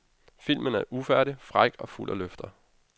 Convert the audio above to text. Filmen er ufærdig, fræk og fuld af løfter.